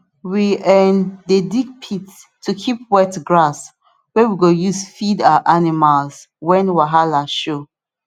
we um dey dig pit to keep wet grass wey we go use feed our animals when wahala show